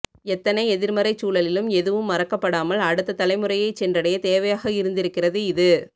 எத்தனை எதிர்மறைச்சூழலிலும் எதுவும் மறக்கப்படாமல் அடுத்த தலைமுறையைச் சென்றடைய தேவையாக இருந்திருக்கிறது இது